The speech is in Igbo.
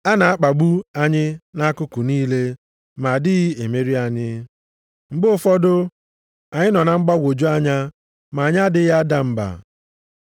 A na-akpagbu anyị nʼakụkụ niile, ma adịghị emeri anyị. Mgbe ụfọdụ, anyị nọ na mgbagwoju anya ma anyị adịghị ada mba.